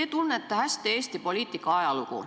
Te tunnete hästi Eesti poliitika ajalugu.